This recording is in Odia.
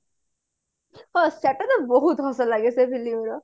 ହଁ ସେଟା ତ ବହୁତ ହସଲଗେ ସେ film ର